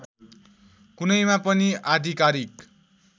कुनैमा पनि आधिकारिक